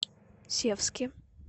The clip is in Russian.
севске